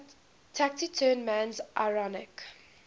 taciturn man's ironic